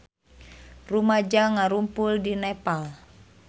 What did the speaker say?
Rumaja ngarumpul di Nepal